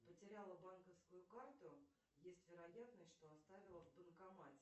потеряла банковскую карту есть вероятность что оставила в банкомате